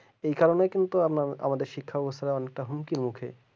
এই কারণে কিন্তু আমরা আমাদের শিক্ষা ব্যবস্থাটা হুমকি নিচ্ছে